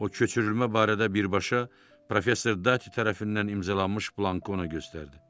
O köçürülmə barədə birbaşa professor Dati tərəfindən imzalanmış blankı ona göstərdi.